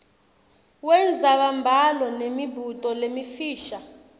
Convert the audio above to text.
wendzabambhalo nemibuto lemifisha